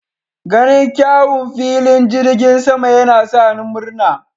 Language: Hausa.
Ganin kyawun filin jirgin sama yana sa ni murna.